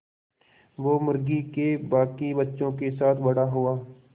वो मुर्गी के बांकी बच्चों के साथ बड़ा हुआ